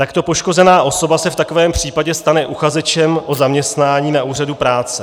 Takto poškozená osoba se v takovém případě stane uchazečem o zaměstnání na úřadu práce.